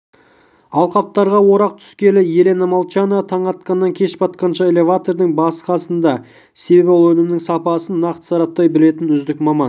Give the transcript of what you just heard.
алқаптарға орақ түскелі елена молчанова таң атқаннан кеш батқанша элеватордың басы-қасында себебі ол өнімнің сапасын нақты сараптай білетін үздік маман